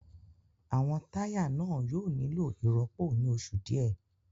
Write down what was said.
Àwọn táyà náà yóò nílò ìrọ́pò ní oṣù díẹ̀